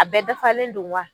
A bɛɛ dafalen don wa